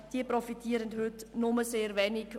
Diese profitieren heute nur sehr wenig.